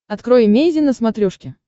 открой эмейзин на смотрешке